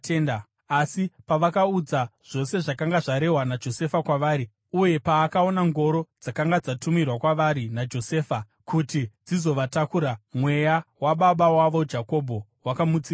Asi pavakavaudza zvose zvakanga zvarehwa naJosefa kwavari, uye paakaona ngoro dzakanga dzatumirwa kwavari naJosefa kuti dzizovatakura, mweya wababa wavo Jakobho wakamutsiridzwa.